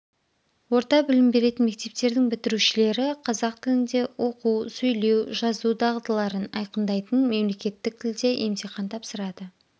орта білім беретін мектептердің бітірушілері қазақ тілінде оқу сөйлеу жазу дағдыларын айқындайтын мемлекеттік тілде емтихан тапсырады